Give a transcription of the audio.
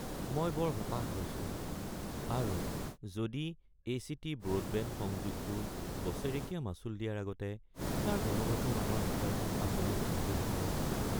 মই বৰ হতাশ হৈছোঁ আৰু মই যদি এচিটি ব্ৰডবেণ্ড সংযোগটোৰ বছৰেকীয়া মাচুল দিয়াৰ আগতে তাৰ গুণগত মানৰ বিষয়ে আপোনাক সুধিলোহেঁতেন।